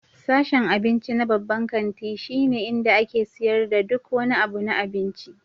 Sashen abinci na babban kanti shine inda ake siyar da duk wani abu na abinci.